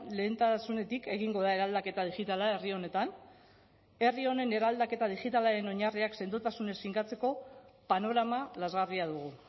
lehentasunetik egingo da eraldaketa digitala herri honetan herri honen eraldaketa digitalaren oinarriak sendotasunez finkatzeko panorama lazgarria dugu